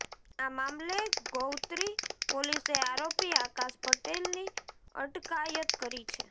આ મામલે ગૌત્રી પોલીસે આરોપી આકાશ પટેલની અટકાયત કરી છે